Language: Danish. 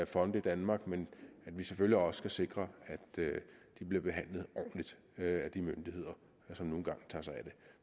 fonde i danmark men at vi selvfølgelig også skal sikre at de bliver behandlet ordentligt af de myndigheder som nu engang tager sig af